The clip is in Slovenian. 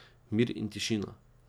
Mir in tišina.